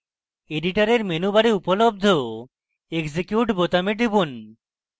editor menu bar উপলব্ধ execute বোতামে টিপুন